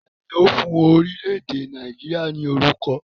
Taàní ó fún orílẹ̀ èdè Nàìjíríà ni orúkọ?